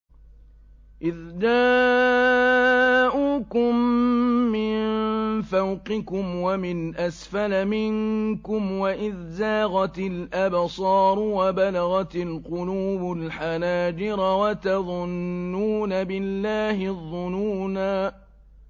إِذْ جَاءُوكُم مِّن فَوْقِكُمْ وَمِنْ أَسْفَلَ مِنكُمْ وَإِذْ زَاغَتِ الْأَبْصَارُ وَبَلَغَتِ الْقُلُوبُ الْحَنَاجِرَ وَتَظُنُّونَ بِاللَّهِ الظُّنُونَا